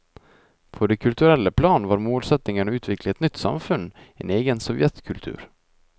På det kulturelle plan var målsettingen å utvikle et nytt samfunn, en egen sovjetkultur.